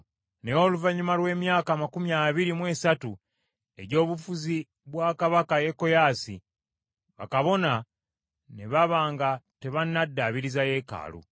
Naye oluvannyuma lw’emyaka amakumi abiri mu esatu egy’obufuzi bwa kabaka Yekoyaasi, bakabona ne baba nga tebannaddaabiriza yeekaalu.